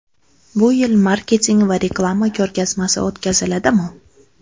Bu yil Marketing va reklama ko‘rgazmasi o‘tkaziladimi?